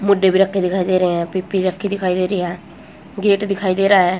मुड्डे भी रखे दिखाई दे रहे हैं पीप्पि रखी दिखाई दे रही है गेट दिखाई दे रहा है।